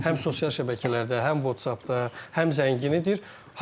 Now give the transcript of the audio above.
Həm sosial şəbəkələrdə, həm WhatsApp-da, həm zəngin idi.